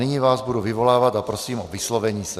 Nyní vás budu vyvolávat a prosím o vyslovení se.